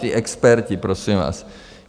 Ti experti, prosím vás.